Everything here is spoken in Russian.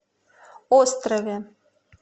острове